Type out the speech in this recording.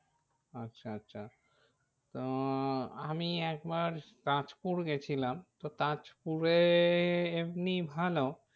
আচ্ছা আচ্ছা তো আমি একবার তাজপুর গিয়েছিলাম। তো তাজপুরে এমনি ভালো